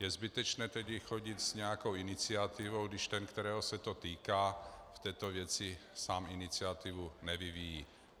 Je zbytečné tedy chodit s nějakou iniciativou, když ten, kterého se to týká, v této věci sám iniciativu nevyvíjí.